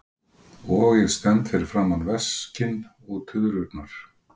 Og ég stend fyrir framan veskin og tuðrurnar.